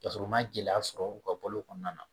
Ka sɔrɔ u ma gɛlɛya sɔrɔ u ka balo kɔnɔna na